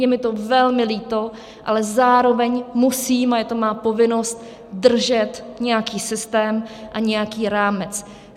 Je mi to velmi líto, ale zároveň musím - a je to má povinnost - držet nějaký systém a nějaký rámec.